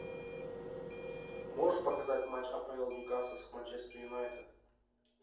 можешь показать матч апл ньюкасл с манчестер юнайтед